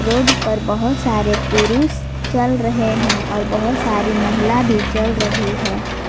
Road पर बहुत सारे पुरुष चल रहे हैं और बहुत सारी महिला भी चल रही हैं।